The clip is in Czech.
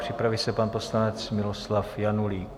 Připraví se pan poslanec Miloslav Janulík.